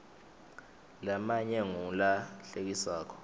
lamanye ngulahlekisako